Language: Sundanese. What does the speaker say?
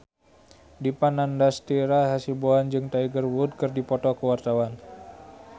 Dipa Nandastyra Hasibuan jeung Tiger Wood keur dipoto ku wartawan